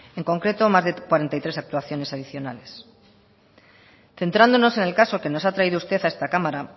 en concreto más de cuarenta y tres actuaciones adicionales centrándonos en el caso que nos ha traído usted a esta cámara